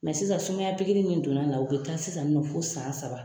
Mɛ sisan sumaya pikiri min donna la u bɛ taa sisan nin nɔ fɔ san saba.